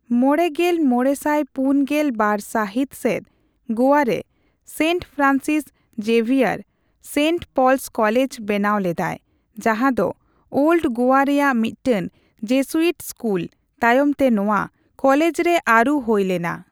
ᱢᱚᱲᱮᱜᱮᱞ ᱢᱚᱲᱮᱥᱟᱭ ᱯᱩᱱᱜᱮᱞ ᱵᱟᱨ ᱥᱟᱹᱦᱤᱛ ᱥᱮᱫ ᱜᱳᱣᱟᱨᱮ ᱥᱮᱱᱴ ᱯᱷᱨᱟᱱᱥᱤᱥ ᱡᱮᱵᱷᱤᱭᱟᱨ, ᱥᱮᱱᱴ ᱯᱚᱞᱥ ᱠᱚᱞᱮᱡᱽ ᱵᱮᱱᱟᱣ ᱞᱮᱫᱟᱭ, ᱡᱟᱦᱟᱸ ᱫᱚ ᱳᱞᱰ ᱜᱳᱣᱟ ᱨᱮᱭᱟᱜ ᱢᱤᱫᱴᱟᱝ ᱡᱮᱥᱩᱭᱤᱴ ᱥᱠᱩᱞ, ᱛᱟᱭᱚᱢᱛᱮ ᱱᱚᱣᱟ ᱠᱚᱞᱮᱡᱽᱨᱮ ᱟᱹᱨᱩ ᱦᱳᱭ ᱞᱮᱱᱟ ᱾